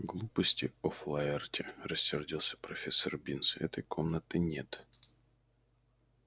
глупости офлаэрти рассердился профессор бинс этой комнаты нет